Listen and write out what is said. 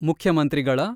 ಮುಖ್ಯಮಂತ್ರಿಗಳ